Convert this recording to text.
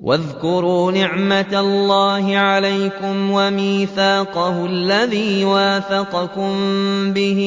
وَاذْكُرُوا نِعْمَةَ اللَّهِ عَلَيْكُمْ وَمِيثَاقَهُ الَّذِي وَاثَقَكُم بِهِ